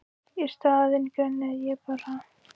Í staðinn grenjaði ég bara.